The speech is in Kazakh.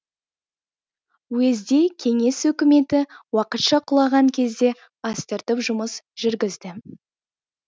уезде кеңес өкіметі уақытша құлаған кезде астыртып жұмыс жүргізді